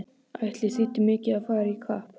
Ætli þýddi mikið að fara í kapp!